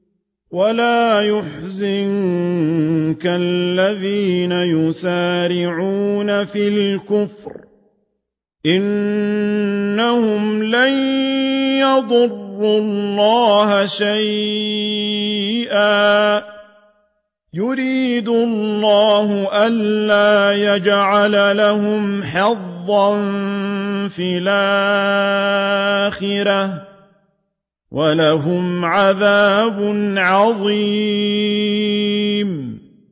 وَلَا يَحْزُنكَ الَّذِينَ يُسَارِعُونَ فِي الْكُفْرِ ۚ إِنَّهُمْ لَن يَضُرُّوا اللَّهَ شَيْئًا ۗ يُرِيدُ اللَّهُ أَلَّا يَجْعَلَ لَهُمْ حَظًّا فِي الْآخِرَةِ ۖ وَلَهُمْ عَذَابٌ عَظِيمٌ